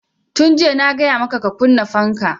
Tun jiya na gaya maka ka kunna fanka!